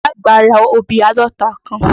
Ìyá àgbá ra obì àádọ́ta kan.